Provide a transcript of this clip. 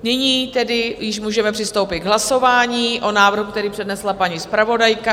Nyní tedy již můžeme přistoupit k hlasování o návrhu, který přednesla paní zpravodajka.